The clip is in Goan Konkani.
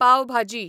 पाव भाजी